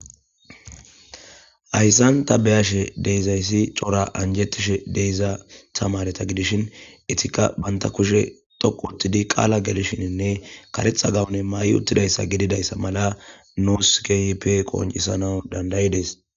hayssan ta beyashe deyzayssi cora anjettishe deyza tamareta gidishin etikka banta kushe toqu uttidi qaala gelishininne karetha gawune mayi uttidayssa gididayssa mala nuusi keehippe qooncisanawu dandayides